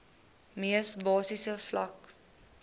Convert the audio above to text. mees basiese vlak